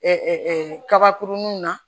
kabakurunw na